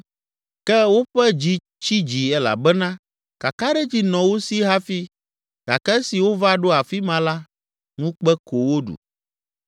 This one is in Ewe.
Ke woƒe dzi tsi dzi elabena kakaɖedzi nɔ wo si hafi gake esi wova ɖo afi ma la, ŋukpe ko woɖu.